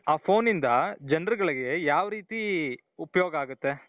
ಆ phone ಇಂದ ಜನರುಗಳಿಗೆ ಯಾವ್ ರೀತಿ ಉಪಯೋಗ ಆಗುತ್ತೆ ?